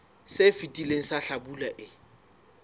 se fetileng sa hlabula e